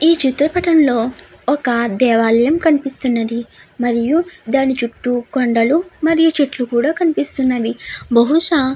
ఈ చిత్ర పటం లో ఒక దేవాలయము కనిపిస్తున్నది మరియు దాని చుట్టూ కొండలు మరియు చెట్లు కూడా కనిపిస్తున్నవి బహుశా --